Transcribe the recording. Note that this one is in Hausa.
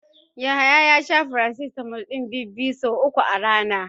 Yahaya ya sha farasitamol ɗin bibbiyu so uku a rana.